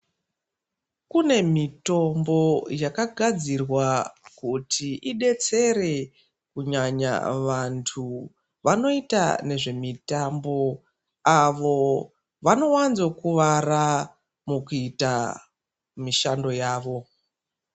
Kune mitombo yakagadzirwa kuti idetsere kunyanya vantu vanoita nezvemitambo, avo vanowanzokuwara, mukuita mishando yavo.